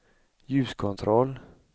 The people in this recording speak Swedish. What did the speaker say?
ljuskontroll